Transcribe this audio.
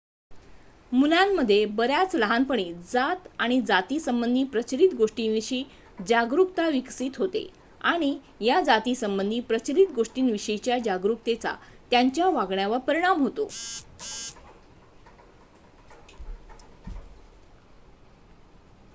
मुलांमध्ये बऱ्याच लहानपणी जात आणि जातीसंबंधी प्रचलित गोष्टींविषयी जागरुकता विकसित होते आणि या जातीसंबंधी प्रचलित गोष्टींविषयीच्या जागरूकतेचा त्यांच्या वागण्यावर परिणाम होतो